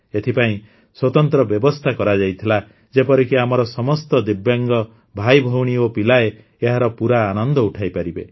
ଏଥିପାଇଁ ସ୍ୱତନ୍ତ୍ର ବ୍ୟବସ୍ଥା କରାଯାଇଥିଲା ଯେପରିକି ଆମର ସମସ୍ତ ଦିବ୍ୟାଙ୍ଗ ଭାଇଭଉଣୀ ଓ ପିଲାଏ ଏହାର ପୂରା ଆନନ୍ଦ ଉଠାଇପାରିବେ